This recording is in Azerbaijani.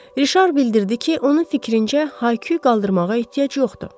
Rişar bildirdi ki, onun fikrincə, Haykuy qaldırmağa ehtiyac yoxdur.